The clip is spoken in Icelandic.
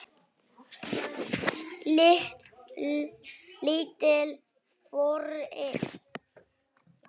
Lítil forrit